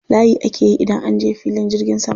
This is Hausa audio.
Layi ake yi idan an je filin jirgin sama.